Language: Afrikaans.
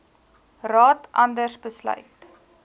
raad anders besluit